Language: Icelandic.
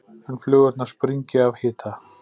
en flugurnar springi af hita.